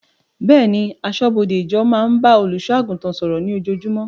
Bẹ́ẹ̀ni, aṣọ́bọdè ìjọ máa ń bá olùṣọ́ àgùntàn sọ̀rọ̀ ní ojoojúmọ́